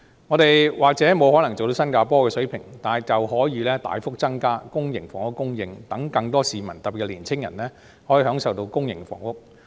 香港或許無法做到新加坡的水平，但卻可以大幅增加公營房屋的供應，讓更多市民，特別是年青人可以享受到公營房屋。